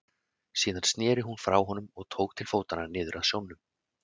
Síðan sneri hún frá honum og tók til fótanna niður að sjónum.